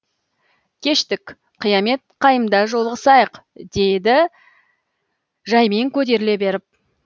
кештік қиямет қайымда жолығысайық дейді жаймен көтеріле беріп